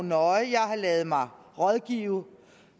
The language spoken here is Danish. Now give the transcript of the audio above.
nøje jeg har ladet mig rådgive